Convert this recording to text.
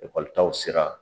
taw sera.